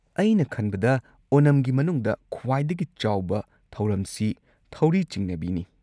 ꯑꯩꯅ ꯈꯟꯕꯗ ꯑꯣꯅꯝꯒꯤ ꯃꯅꯨꯡꯗ ꯈ꯭ꯋꯥꯏꯗꯒꯤ ꯆꯥꯎꯕ ꯊꯧꯔꯝꯁꯤ ꯊꯧꯔꯤ ꯆꯤꯡꯅꯕꯤꯅꯤ꯫